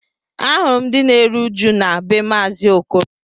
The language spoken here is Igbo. Ahụrụ m ndị na-eru uju na be maazi Okoro